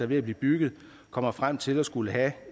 ved at blive bygget kommer frem til at skulle have